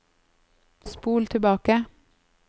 spol tilbake